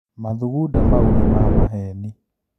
Mathugunda mau nĩ mamaheni.